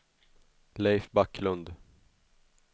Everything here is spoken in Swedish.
Leif Backlund